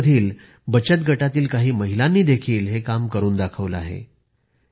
झारखंड मधील बचत गटातील काही महिलांनी देखील हे काम करून दाखवले आहे